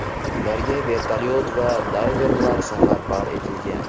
Ularga vertolyot va dayverlar safarbar etilgan.